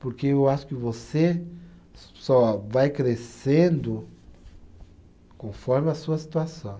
Porque eu acho que você só vai crescendo conforme a sua situação.